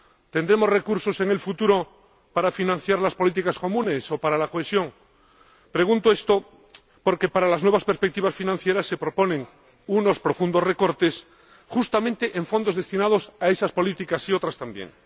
¿Tendremos recursos en el futuro para financiar las políticas comunes o para la cohesión? Pregunto esto porque, para las nuevas perspectivas financieras, se proponen unos profundos recortes, justamente en fondos destinados a esas políticas, y a otras también.